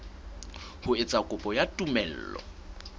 ho etsa kopo ya tumello